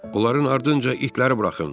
Onların ardınca itləri buraxın.